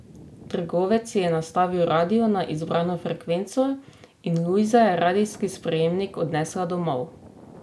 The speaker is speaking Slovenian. Trgovec ji je nastavil radio na izbrano frekvenco in Lujza je radijski sprejemnik odnesla domov.